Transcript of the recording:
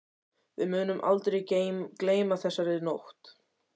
Við munum aldrei gleyma þessari nótt.